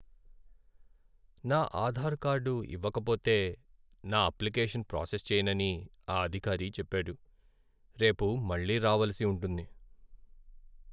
నా ఆధార్ కార్డు ఇవ్వకపోతే, నా అప్లికేషన్ ప్రాసెస్ చేయనని ఆ అధికారి చెప్పాడు. రేపు మళ్ళీ రావలసి ఉంటుంది.